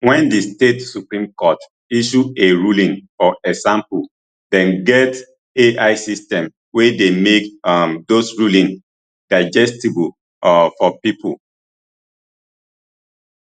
wen di state supreme court issue a ruling for example dem get ai system wey dey make um dose rulings digestible um for pipo